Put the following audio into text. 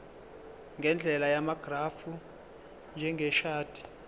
ngendlela yamagrafu njengeshadi